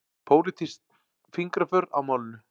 Pólitísk fingraför á málinu